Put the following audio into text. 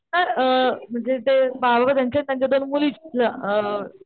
अ म्हणजे ते बाबा त्यांच्या दोन मुली तिथल्या अ,